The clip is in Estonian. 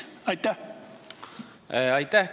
Aitäh!